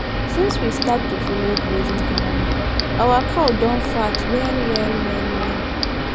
since we start to follow grazing calendar our cow don fat well well well well